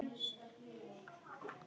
Við blasa hergögn og vélar.